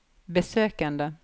besøkene